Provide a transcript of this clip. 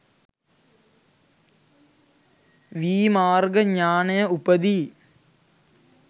වී මාර්ග ඥානය උපදී.